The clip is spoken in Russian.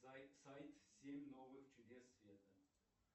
сайт семь новых чудес света